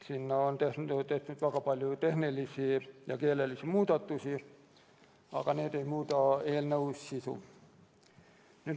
Sinna on tehtud väga palju tehnilisi ja keelelisi muudatusi, mis aga ei muuda eelnõu sisu.